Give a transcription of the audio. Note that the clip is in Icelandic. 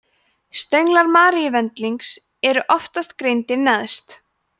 stönglar maríuvendlings eru oftast greindir neðst